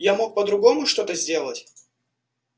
я мог по-другому что-то сделать